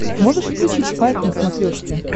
можешь включить спайк на смотрешке